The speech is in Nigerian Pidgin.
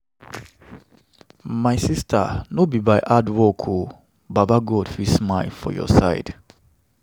My sista no be by hardwork o, baba God fit smile for your side.